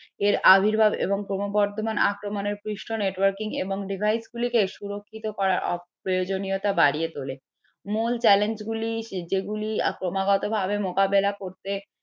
এর আবির্ভাব এবং ক্রমবর্ধমান আক্রমনের networking এবং device গুলিকে সুরক্ষিত করা অপ্রয়োজনীয়তা বাড়িয়ে তোলে যেগুলি ক্রমাগতভাবে মোকাবেলা করতে